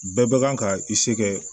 Bɛɛ bɛ kan ka i se kɛ